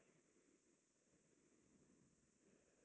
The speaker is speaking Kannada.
.